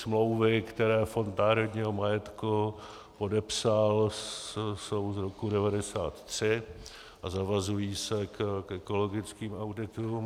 Smlouvy, které Fond národního majetku podepsal, jsou z roku 1993 a zavazují se k ekologickým auditům.